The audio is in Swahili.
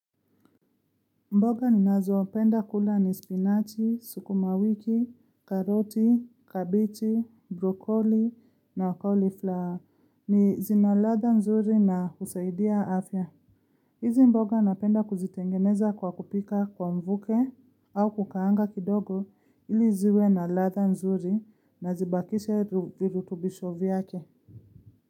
Mboga ni nazopenda kula ni spinach, suku mawiki, karoti, kabichi, brokoli na cauliflower ni zinaladha mzuri na kusaidia afya. Hizi mboga napenda kuzitengeneza kwa kupika kwa mvuke au kukaanga kidogo ili ziwe na ladha nzuri na zibakishe vilu tubisho vyake.